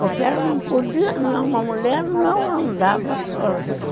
Porque ela não podia... Uma mulher não andava sozinha.